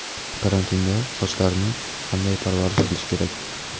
Karantinda sochlarni qanday parvarish qilish kerak?